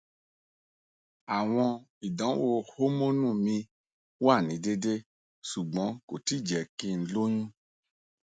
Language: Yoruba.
awọn idanwo homonu mi wa ni deede ṣugbọn ko ti jẹ ki n loyun